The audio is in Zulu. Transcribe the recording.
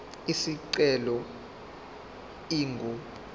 isicelo ingu r